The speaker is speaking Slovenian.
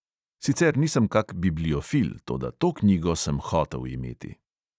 Sicer nisem kak bibliofil, toda to knjigo sem hotel imeti.